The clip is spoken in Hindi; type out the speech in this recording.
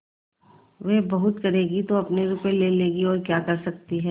वे बहुत करेंगी तो अपने रुपये ले लेंगी और क्या कर सकती हैं